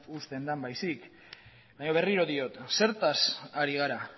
uzten den baizik baina berriro diot zertaz ari gara